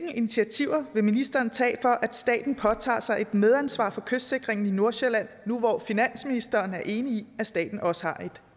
hvilke initiativer vil ministeren tage for at staten påtager sig et medansvar for kystsikringen i nordsjælland nu hvor finansministeren er enig i at staten også har et